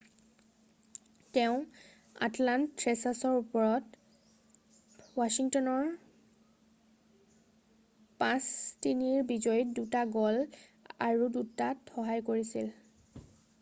তেওঁ আটলান্ত থ্ৰেচাৰ্চৰ ওপৰত ৱাছিংটনৰ 5-3ৰ বিজয়ীত 2টা গ'ল আৰু 2টাত সহায় কৰিছিল।